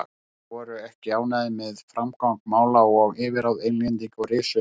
Skotar voru ekki ánægðir með framgang mála og yfirráð Englendinga og risu upp.